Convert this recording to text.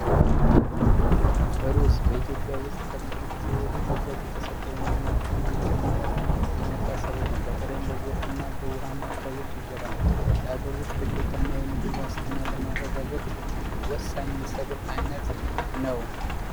ሩዝ ከቅርብ ጊዜ ወዲህ በኢትዮጵያ ውስጥ ትኩረት የተሰጠው እና ምርቱ እየጨመረ የመጣ ሰብል ነው። በተለይም በጎርፍ እና በዉሃማ አካባቢዎች ይዘራል። የሀገር ውስጥ ፍጆታ እና የምግብ ዋስትና ለማረጋገጥ ወሳኝ የሰብል አይነት ነው።